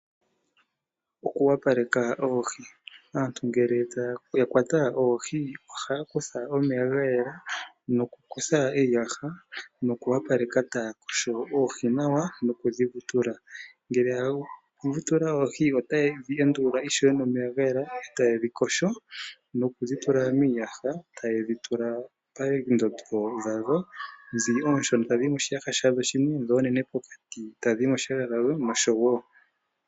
Oku opaleka oohi, aantu ngele ya kwata oohi oha kutha omeya ga yela noku kutha iiyaha noku opaleka taya yogo oohi nawa noku dhi vutula. Ngele taya vu tula oohi otaye dhi endulula ishewe nomeya ga yela etaye dhi yogo noku dhitula miiyaha pondondo dhawo, dho onshona ta dhiyi moshiyaha shawo shimwe, dho onene pokati tadhi yi moshiyaha shawo noshowo.